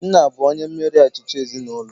Nna bụ onye mmeri achịcha ezinaụlọ